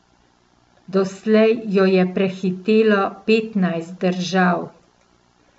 Doslej jo je prehitelo petnajst držav.